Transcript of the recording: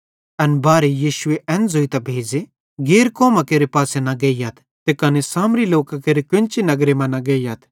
एन बारहे यीशुए एन ज़ोइतां भेज़े गैर कौमां केरे पासे न गेइयथ ते कने सामरी लोकां केरे केन्ची नगर मां न गेइयथ